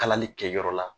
Kalali kɛ yɔrɔ la